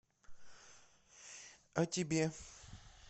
а тебе